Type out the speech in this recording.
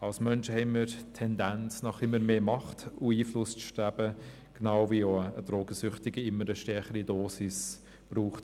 Als Menschen haben wir die Tendenz, nach immer mehr Macht und Einfluss zu streben, genau wie ein Drogensüchtiger für das High eine immer stärkere Dosis braucht.